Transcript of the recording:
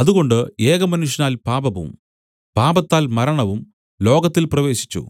അതുകൊണ്ട് ഏകമനുഷ്യനാൽ പാപവും പാപത്താൽ മരണവും ലോകത്തിൽ പ്രവേശിച്ച്